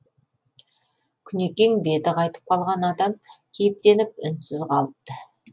күнекең беті қайтып қалған адам кейіптеніп үнсіз қалыпты